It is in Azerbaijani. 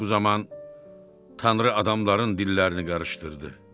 Bu zaman Tanrı adamların dillərini qarışdırdı.